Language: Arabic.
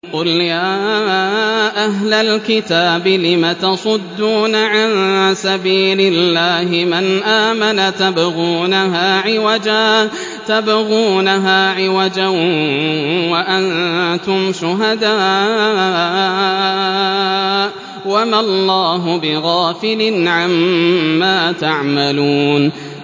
قُلْ يَا أَهْلَ الْكِتَابِ لِمَ تَصُدُّونَ عَن سَبِيلِ اللَّهِ مَنْ آمَنَ تَبْغُونَهَا عِوَجًا وَأَنتُمْ شُهَدَاءُ ۗ وَمَا اللَّهُ بِغَافِلٍ عَمَّا تَعْمَلُونَ